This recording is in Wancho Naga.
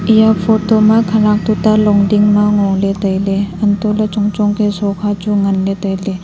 eya photo ma khanak tuta longding ma ngoley tailey untohley chong chong ke shokha chu nganley tailey.